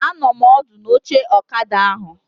Anọ m ọdụ n'oche ọkada ahụ